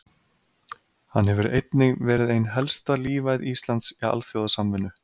Hann hefur einnig verið ein helsta lífæð Íslands í alþjóðasamvinnu.